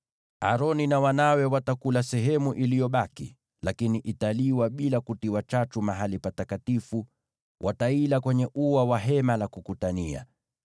Aroni na wanawe watakula sehemu iliyobaki, lakini italiwa bila kutiwa chachu mahali patakatifu, nao wataila kwenye ua wa Hema la Kukutania.